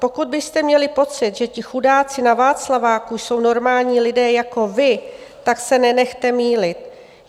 Pokud byste měli pocit, že ti chudáci na Václaváku jsou normální lidé jako vy, tak se nenechte mýlit.